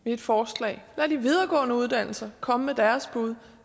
et forslag lad de videregående uddannelser komme med deres bud